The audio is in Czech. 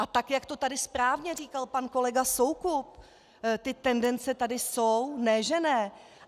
A tak jak to tady správně říkal pan kolega Soukup, ty tendence tady jsou, ne že ne.